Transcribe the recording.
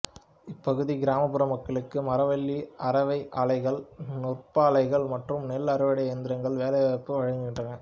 இப்பகுதி கிராமப்புற மக்களுக்கு மரவள்ளி அரவை ஆலைகள் நூற்பாலைகள் மற்றும் நெல் அறுவடை எந்திரங்களும் வேலைவாய்ப்பு வழங்குகின்றன